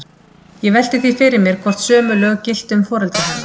Ég velti því fyrir mér, hvort sömu lög giltu um foreldra hennar.